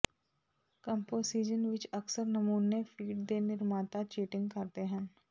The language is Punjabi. ਕੰਪੋਜੀਸ਼ਨ ਵਿੱਚ ਅਕਸਰ ਨਮੂਨੇ ਫੀਡ ਦੇ ਨਿਰਮਾਤਾ ਚੀਟਿੰਗ ਕਰਦੇ ਹਨ